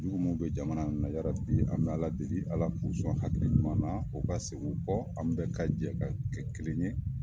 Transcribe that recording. Juguw mun bɛ jamana na yarabi an bɛ ALA deli ALA k'u sɔn hakiliɲuman na u ka segin u kɔ an bɛɛ ka jɛ ka kɛ kelen ye.